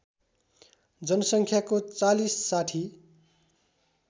जनसङ्ख्याको ४० ६०